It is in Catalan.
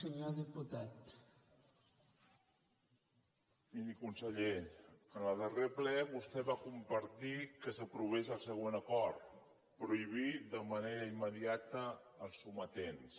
miri conseller en el darrer ple vostè va compartir que s’aprovés el següent acord prohibir de manera immediata els sometents